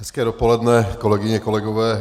Hezké dopoledne, kolegyně, kolegové.